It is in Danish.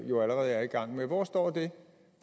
jo allerede er i gang med hvor står det